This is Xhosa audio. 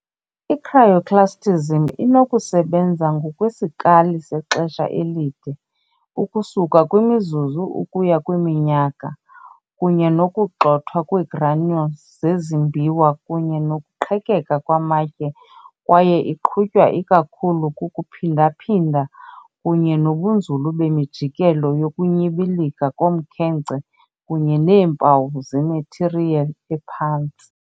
I-Cryoclastism inokusebenza ngokwesikali sexesha elide, ukusuka kwimizuzu ukuya kwiminyaka, kunye nokugxothwa kweegranule zezimbiwa kunye nokuqhekeka kwamatye kwaye iqhutywa ikakhulu kukuphindaphinda kunye nobunzulu bemijikelo yokunyibilika komkhenkce kunye neempawu zemathiriyeli ephantsi.